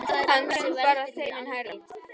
Hann söng bara þeim mun hærra.